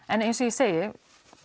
en eins og ég segi